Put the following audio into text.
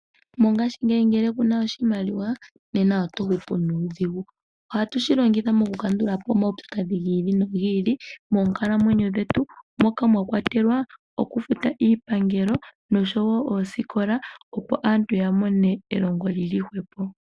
Mongaashingeyi ngele kuna oshimaliwa nena oto hupu nuudhigu. Ohatu shi longitha oku kandula po omaupyakadhi giili nogiili moonkalamwenyo dhetu moka mwa kwatelwa oku futa iipangelo osho woo oosikola opo aantu yamone elongo lyili hwepo.